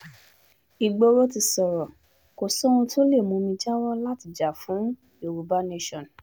igboro ti sọ̀rọ̀ kò sóhun tó lè mú mi jáwọ́ láti jà fún yorùbá nation